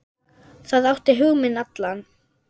Það átti hug minn allan.